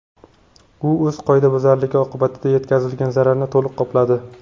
U o‘z qoidabuzarligi oqibatida yetkazilgan zararni to‘liq qopladi.